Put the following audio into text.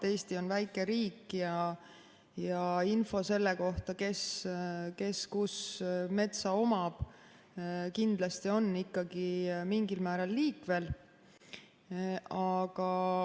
Eesti on väike riik ja info selle kohta, kes kus metsa omab, kindlasti on ikkagi mingil määral liikvel.